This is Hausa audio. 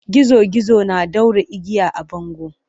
Gizo gizo na ɗaure igiya a bango.